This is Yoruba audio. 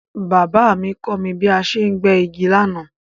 Baba mí kọ́ mí bí a ṣe ń gbẹ́ igi lánàá